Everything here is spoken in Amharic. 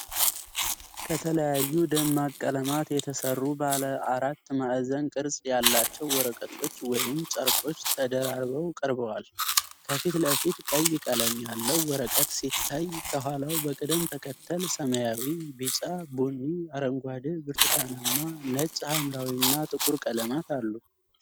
ከተለያዩ ደማቅ ቀለማት የተሰሩ ባለ አራት ማዕዘን ቅርፅ ያላቸው ወረቀቶች ወይም ጨርቆች ተደራርበው ቀርበዋል። ከፊት ለፊት ቀይ ቀለም ያለው ወረቀት ሲታይ፣ ከኋላው በቅደም ተከተል ሰማያዊ፣ ቢጫ፣ ቡኒ፣ አረንጓዴ፣ ብርቱካንማ፣ ነጭ፣ ሐምራዊ እና ጥቁር ቀለማት አሉ።